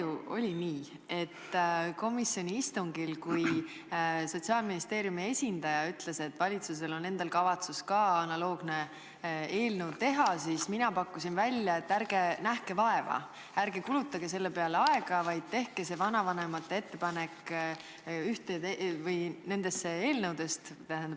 Eks olnud nii, et komisjoni istungil, kui Sotsiaalministeeriumi esindaja ütles, et ka valitsusel endal on kavatsus analoogne eelnõu teha, siis ma pakkusin välja, et ärge nähke vaeva, ärge kulutage selle peale aega, vaid tehke see vanavanemate ettepanek ühe eelnõu kohta nendest kahest.